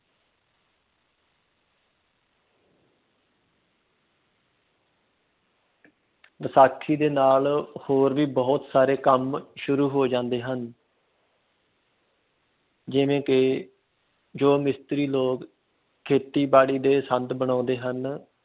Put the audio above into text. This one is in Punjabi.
ਵਿਸਾਖੀ ਦੇ ਨਾਲ ਹੋਰ ਵੀ ਬਹੁਤ ਸਾਰੇ ਕੰਮ ਸ਼ੁਰੂ ਹੋ ਜਾਂਦੇ ਹਨ ਜਿਵੇਂ ਕਿ ਜੋ ਮਿਸਤਰੀ ਲੋਕ ਖੇਤੀਬਾੜੀ ਦੇ ਸੰਦ ਬਣਾਉਂਦੇ ਹਨ